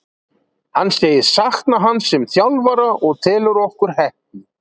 Hann segist sakna hans sem þjálfara og telur okkur heppin.